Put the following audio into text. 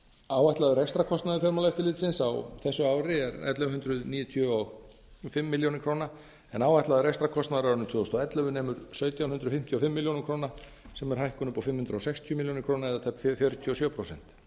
áætlaður rekstrarkostnaður fjármálaeftirlitsins á þessu ári er ellefu hundruð níutíu og fimm milljónir króna en áætlaður rekstrarkostnaður á árinu tvö þúsund og ellefu nemur sautján hundruð fimmtíu og fimm milljónir króna sem er hækkun upp á fimm hundruð sextíu milljónir króna það er tæp fjörutíu og sjö prósent